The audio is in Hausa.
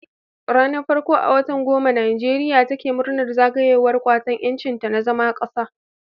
Ranar farko a watan goma Nijeriya take murnar zagayowar Kwatan Yancinta na zama kasa